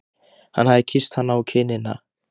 Hann hafði kysst hana á kinnina.